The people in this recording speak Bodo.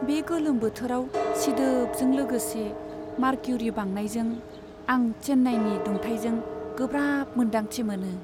बे गोलोम बोथोराव सिदोबजों लोगोसे मारक्युरि बांनायजों आं चेन्नाईनि दुंथाइजों गोब्राब मोनदांथि मोनो।